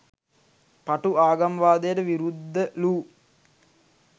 පටු ආගම්වාදයට විරුද්ධ ලූ